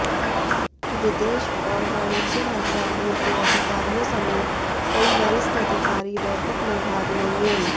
विदेश और वाणिज्य मंत्रालयों के अधिकारियों समेत कई वरिष्ठ अधिकारी बैठक में भाग लेंगे